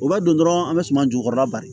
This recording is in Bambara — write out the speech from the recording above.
O b'a don dɔrɔn an bɛ suman jukɔrɔla bari